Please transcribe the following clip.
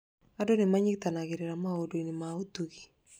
Andũ nĩ manyitanagĩra maũndũ-inĩ ma ũtugi.